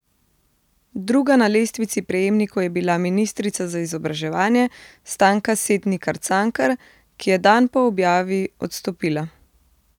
Druga na lestvici prejemnikov je bila ministrica za izobraževanje Stanka Setnikar Cankar, ki je dan po objavi odstopila.